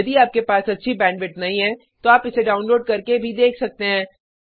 यदि आपके पास अच्छी बैंडविड्थ नहीं है तो आप इसे डाउनलोड करके भी देख सकते हैं